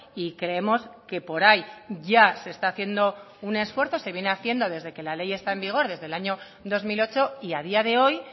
y creemos que por ahí ya se está haciendo un esfuerzo se viene haciendo desde que la ley está en vigor desde el año dos mil ocho y a día de hoy